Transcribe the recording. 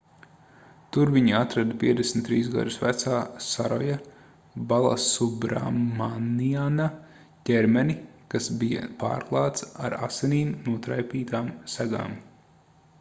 tur viņi atrada 53 gadus vecā saroja balasubramaniana ķermeni kas bija pārklāts ar asinīm notraipītām segām